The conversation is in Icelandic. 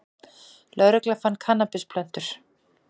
Lögregla fann kannabisplöntur